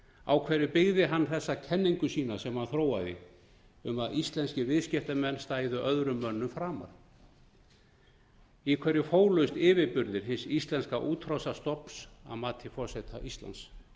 á hverju byggði hann þessa kenningu sína sem hann þróaði um að íslenskir viðskiptamenn stæðu öðrum mönnum framar í hverju fólust yfirburðir hins íslenska útrásarstofns að mati forseta íslands